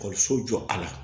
Ekɔliso jɔ a la